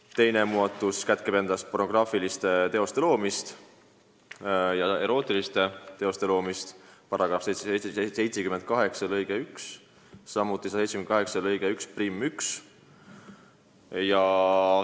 Samuti soovime muuta alaealiste osalusel pornograafiliste ja erootiliste teoste loomist käsitlevaid § 178 lõikeid 1 ja 11.